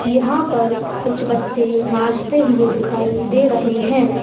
यहाँ पर कुछ बच्चे नाचते हुए दिखाई दे रहे है।